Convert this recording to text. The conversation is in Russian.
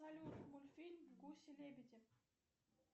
салют мультфильм гуси лебеди